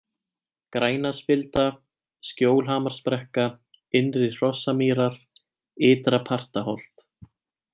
Grænaspilda, Skjólhamarsbrekka, Innri-Hrossamýrar, Ytra-Partaholt